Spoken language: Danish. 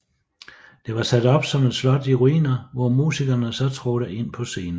Det var sat op som et slot i ruiner hvor musikerne så trådte ind på scenen